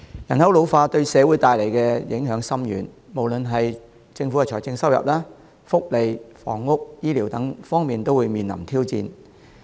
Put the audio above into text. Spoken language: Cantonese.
人口老化對社會帶來的影響深遠，無論是政府的財政收入、福利、房屋、醫療等方面，都會面臨挑戰。